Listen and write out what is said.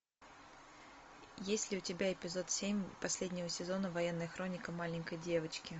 есть ли у тебя эпизод семь последнего сезона военная хроника маленькой девочки